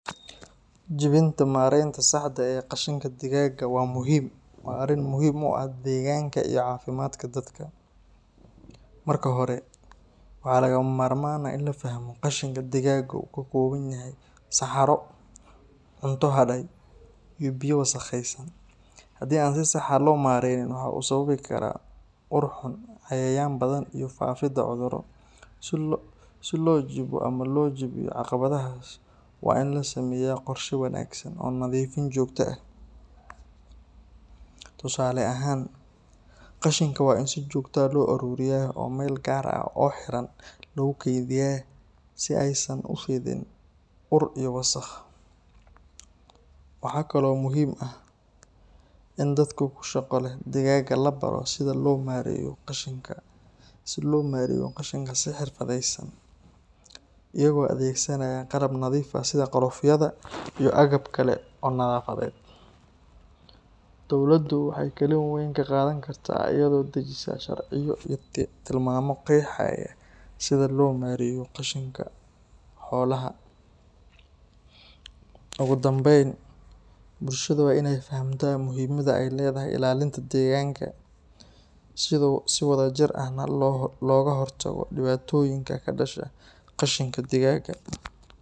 Jibinta maaraynta saxda ah ee qashinka digaagga waa arrin muhiim u ah deegaanka iyo caafimaadka dadka. Marka hore, waxaa lagama maarmaan ah in la fahmo in qashinka digaagga uu ka kooban yahay saxaro, cunto hadhay, iyo biyo wasakhaysan. Haddii aan si sax ah loo maareynin, waxa uu sababi karaa ur xun, cayayaan badan, iyo faafidda cudurro. Si loo jibo ama loo jebiyo caqabaddaas, waa in la sameeyaa qorshe wanaagsan oo nadiifin joogto ah. Tusaale ahaan, qashinka waa in si joogto ah loo ururiyaa oo meel gaar ah oo xiran lagu keydiyaa si aysan u fidin ur iyo wasakh. Waxaa kaloo muhiim ah in dadka ku shaqo leh digaagga la baro sida loo maareeyo qashinka si xirfadeysan, iyagoo adeegsanaya qalab nadiif ah sida galoofyada iyo agab kale oo nadaafadeed. Dowladdu waxay kaalin weyn ka qaadan kartaa iyadoo dejisa sharciyo iyo tilmaamo qeexaya sida loo maareeyo qashinka xoolaha. Ugu dambeyn, bulshada waa inay fahamtaa muhiimadda ay leedahay ilaalinta deegaanka, si wadajir ahna looga hortago dhibaatooyinka ka dhasha qashinka digaagga.